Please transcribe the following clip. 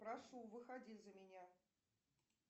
прошу выходи за меня